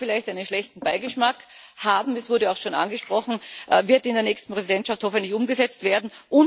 Das mag vielleicht einen schlechten Beigeschmack haben es wurde auch schon angesprochen und wird in der nächsten Präsidentschaft hoffentlich umgesetzt werden.